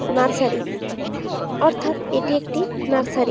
Nursery অর্থাৎ এটি একটি নার্সারী ।